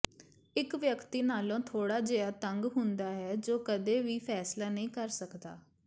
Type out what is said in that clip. ਇੱਕ ਵਿਅਕਤੀ ਨਾਲੋਂ ਥੋੜਾ ਜਿਹਾ ਤੰਗ ਹੁੰਦਾ ਹੈ ਜੋ ਕਦੇ ਵੀ ਫੈਸਲਾ ਨਹੀਂ ਕਰ ਸਕਦਾ